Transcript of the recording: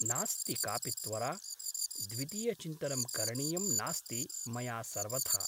नास्ति कापि त्वरा । द्वितीयचिन्तनं करणीयं नास्ति मया सर्वथा ।